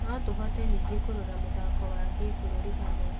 No tũhote ningĩ kũrora mũthako wa kĩbũrũri hamwe.